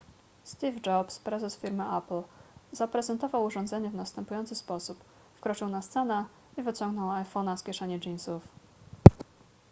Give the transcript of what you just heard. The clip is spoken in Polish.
steve jobs prezes firmy apple zaprezentował urządzenie w następujący sposób wkroczył na scenę i wyciągnął iphone'a z kieszeni jeansów